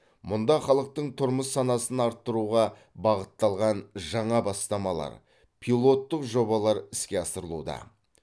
мұнда халықтың тұрмыс санасын арттыруға бағытталған жаңа бастамалар пилоттық жобалар іске асырылуда